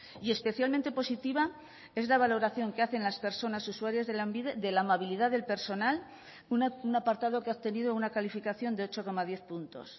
y especialmente positiva es la valoración que hacen las personas usuarias de lanbide de la amabilidad del personal un apartado que ha obtenido una calificación de ocho coma diez puntos